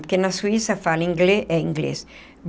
Porque na Suíça fala inglês eh inglês.